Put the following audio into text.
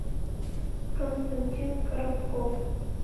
константин коробков